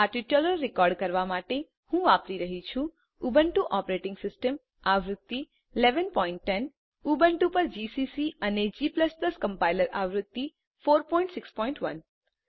આ tutorial record કરવા માટે હું વાપરી રહ્યી છું ઉબુન્ટુ ઓપરેટીંગ સિસ્ટમ આવૃત્તિ 1110 ઉબુન્ટુ ઉપર જીસીસી અને g કમ્પાઈલર આવૃત્તિ 461